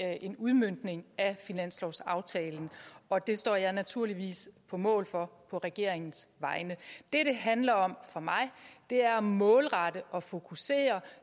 er en udmøntning af finanslovsaftalen og det står jeg naturligvis på mål for på regeringens vegne det det handler om for mig er at målrette og fokusere